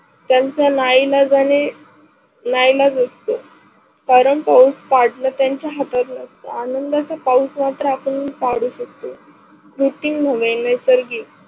त्यांचा ना इलाजाने ना इलाज असतो. कारण पाऊस पाडन त्यांच्या हातात नसत. आनंदाच पाऊस मात्र आपण पडू शकतो. पुर्थ्वी मुळे नेसार्गिक